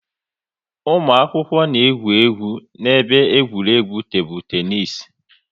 Ụmụ akwụkwọ na-egwu egwu n'ebe egwuregwu tebụl teenis